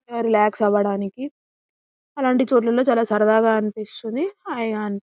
relax అవ్వడానికి అలంటి చోట్లో చాల సరదాగా అనిపిస్తుంది